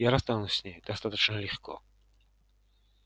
я расстанусь с ней достаточно легко